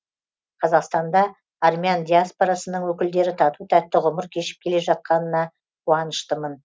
қазақстанда армян диаспорасының өкілдері тату тәтті ғұмыр кешіп келе жатқанына қуаныштымын